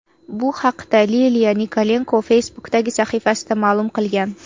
Bu haqda Liliya Nikolenko Facebook’dagi sahifasida ma’lum qilgan .